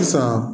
Sisan